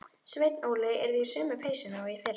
Sveinn Óli yrði í sömu peysunni og í fyrra.